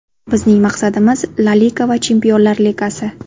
Bizning maqsadimiz – La Liga va Chempionlar Ligasi.